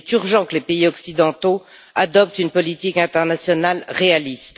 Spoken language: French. Il est urgent que les pays occidentaux adoptent une politique internationale réaliste.